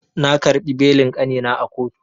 Na karɓo belin kanina a kotu.